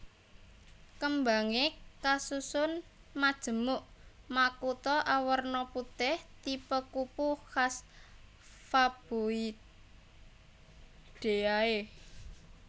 Kembangé kasusun majemuk makutha awerna putih tipe kupu khas Faboideae